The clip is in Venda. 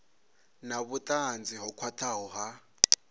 na vhutanzi ho khwathaho ha